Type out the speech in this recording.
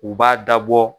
U b'a dabɔ